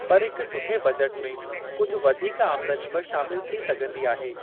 पर हिकु सुठे बजट में कुझु वधीक आमदनी बि शामिलु थी सघंदी आहे।